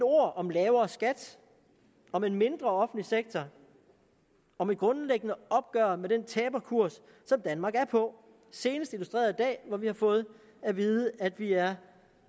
ord om lavere skat om en mindre offentlig sektor om et grundlæggende opgør med den taberkurs som danmark er på senest illustreret i dag hvor vi har fået at vide at vi er